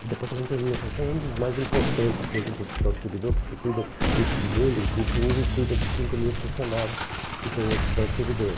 O departamento de administração é um dos mais importantes dentro do hospital de servidor, porque cuida de todo mundo, inclusive cuida de cinco mil funcionários que tem no hospital de servidor.